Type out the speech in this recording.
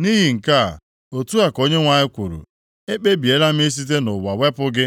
Nʼihi nke a, otu a ka Onyenwe anyị kwuru, ‘Ekpebiela m isite nʼụwa wepụ gị.